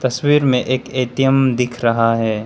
तस्वीर में एक ए_टी_एम दिख रहा है।